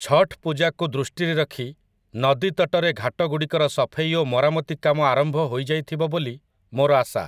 ଛଠ୍ ପୂଜାକୁ ଦୃଷ୍ଟିରେ ରଖି ନଦୀତଟରେ ଘାଟଗୁଡ଼ିକର ସଫେଇ ଓ ମରାମତି କାମ ଆରମ୍ଭ ହୋଇଯାଇଥିବ ବୋଲି ମୋର ଆଶା ।